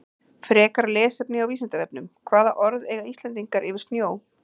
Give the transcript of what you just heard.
Frekara lesefni á Vísindavefnum Hvaða orð eiga Íslendingar yfir snjó?